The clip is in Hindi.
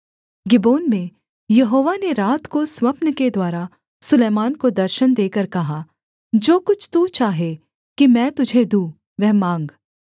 गिबोन में यहोवा ने रात को स्वप्न के द्वारा सुलैमान को दर्शन देकर कहा जो कुछ तू चाहे कि मैं तुझे दूँ वह माँग